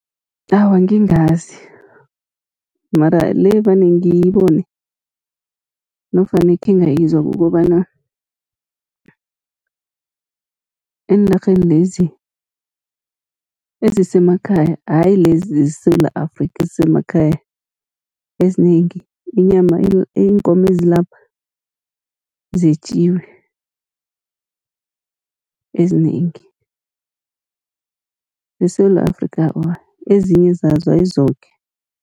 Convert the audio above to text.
Awa, ngingazi mara le vane ngiyibone nofana ekhe ngayizwa, kukobana eenarheni lezi ezisemakhaya ayi lezi zeSewula Afrika, ezisemakhaya ezinengi, inyama iinkomo ezilapha zetjiwe ezinengi zeSewula Afrika, awa ezinye zazo ayi zoke.